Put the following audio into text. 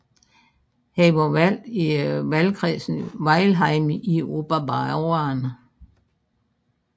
Han var valgt i valgkredsen Weilheim i Oberbayern